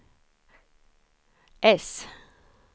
S